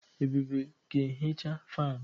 Ebube ga-ehicha fanụ.